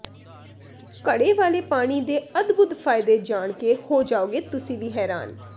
ਘੜੇ ਵਾਲੇ ਪਾਣੀ ਦੇ ਅਦਭੁੱਤ ਫ਼ਾਇਦੇ ਜਾਣ ਕੇ ਹੋ ਜਾਓਗੇ ਤੁਸੀਂ ਵੀ ਹੈਰਾਨ